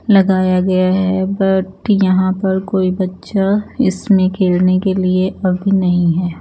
लगाया गया है बट यहां पर कोई बच्चा इसमें खेलने के लिए अभी नहीं है।